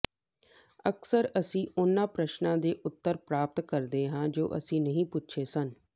ਅਕਸਰ ਅਸੀਂ ਉਹਨਾਂ ਪ੍ਰਸ਼ਨਾਂ ਦੇ ਉੱਤਰ ਪ੍ਰਾਪਤ ਕਰਦੇ ਹਾਂ ਜੋ ਅਸੀਂ ਨਹੀਂ ਪੁੱਛੇ ਸਨ